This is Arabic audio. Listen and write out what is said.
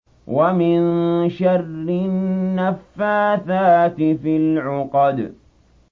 وَمِن شَرِّ النَّفَّاثَاتِ فِي الْعُقَدِ